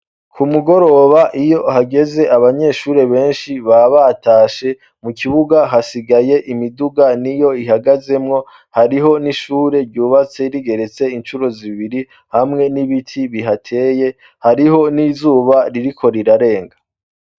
ku mugoroba iyo hageze abanyeshure benshi babatashe mu kibuga hasigaye imiduga niyo ihagazemwo hariho n'ishure ryubatse rigeretse incuro zibiri hamwe n'ibiti bihateye hariho n'izuba ririko rirarenga